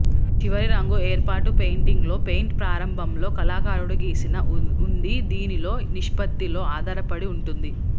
చివరి రంగు ఏర్పాటు పెయింటింగ్ లో పెయింట్ ప్రారంభంలో కళాకారుడు గీసిన ఉంది దీనిలో నిష్పత్తిలో ఆధారపడి ఉంటుంది